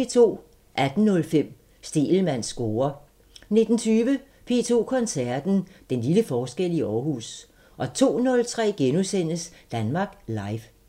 18:05: Stegelmanns score 19:20: P2 Koncerten – Den lille forskel i Aarhus 02:03: Danmark Live *